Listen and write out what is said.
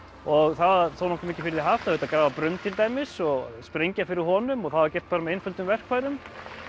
og það var þó nokkuð mikið fyrir því haft það þurfti að grafa brunn til dæmis og sprengja fyrir honum og það var gert bara með einföldum verkfærum